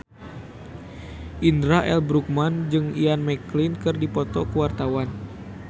Indra L. Bruggman jeung Ian McKellen keur dipoto ku wartawan